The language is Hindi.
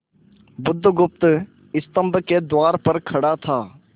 बुधगुप्त स्तंभ के द्वार पर खड़ा था